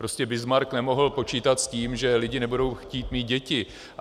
Prostě Bismarck nemohl počítat s tím, že lidi nebudou chtít mít děti.